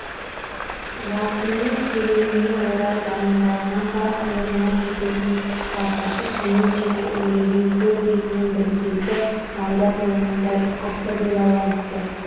жасынның келуіне орай дайындалған ба иығына жететін қысқа шашы кенет жел үрлеген көл бетінің біркелкі майда толқынындай ұқыпты бұйраланыпты